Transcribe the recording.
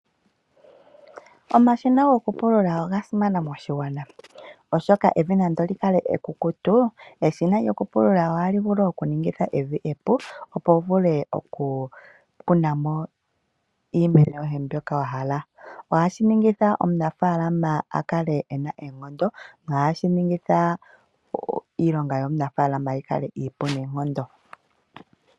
Omashina gokupulula ogasimana moshigwana oshoka, evi nando likale ekukukutu eshina lokupulula ohali vulu okuningitha evi epu opo wuvule okukunamo iimeno yohe mbyoka wahala. Ohashiningitha omunafaalama opo akale ena oonkondo, nohashiningitha iilonga yomunafaalama yikale iipu neenkondo.